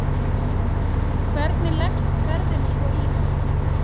Hvernig leggst ferðin svo í hann?